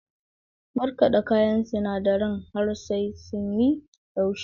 Markaɗa kayan sinadaren har sai sun yi laushi.